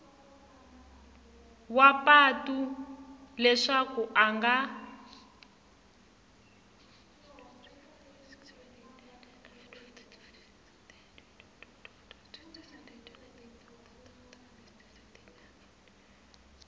wa patu leswaku a nga